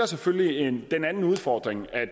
selvfølgelig den anden udfordring at